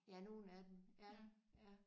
Ja nogle af dem ja ja